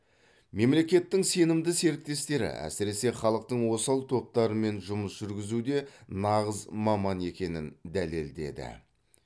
мемлекеттің сенімді серіктестері әсіресе халықтың осал топтарымен жұмыс жүргізуде нағыз маман екенін дәлелдеді